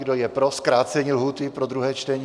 Kdo je pro zkrácení lhůty pro druhé čtení?